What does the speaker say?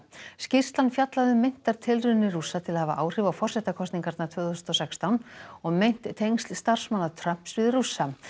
skýrslan fjallaði um meintar tilraunir Rússa til að hafa áhrif á forsetakosningarnar tvö þúsund og sextán og meint tengsl starfsmanna Trumps við Rússa